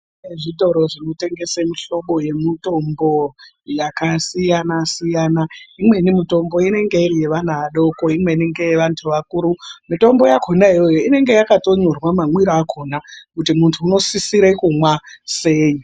Kune zvitoro zvinotengesa mihlobo yemutombo yakasiyana siyana imweni mitombo inenge iri yevana vadoko imweni ngevantu vakuru mitombo yakona iyoyo inenge yakanyorwa mamwirwo akona kuti muntu anosisira kumwa sei.